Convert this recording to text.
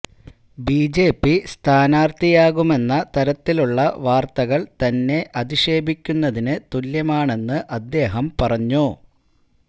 BJP സ്ഥാനാര്ത്ഥിയാകുമെന്ന തരത്തിലുള്ള വാര്ത്തകള് തന്നെ അധിഷേപിക്കുന്നതിന് തുല്യമാണെന്ന് അദ്ദേഹം പറഞ്ഞു